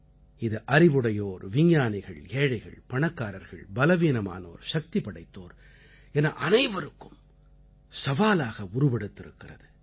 இது அறிவுடையோர் விஞ்ஞானிகள் ஏழைகள் பணக்காரர்கள் பலவீனமானோர் சக்தி படைத்தோர் என அனைவருக்கும் சவாலாக உருவெடுத்திருக்கிறது